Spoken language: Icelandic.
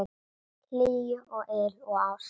Hlýju og yl og ást.